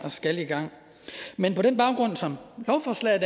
skal i gang men som lovforslaget